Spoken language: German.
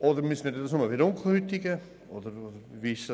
Oder müsste man dies nur bei dunkelhäutigen Personen tun?